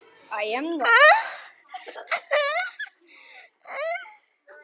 Hann stóðst það afl.